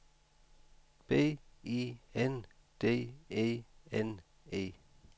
B I N D E N E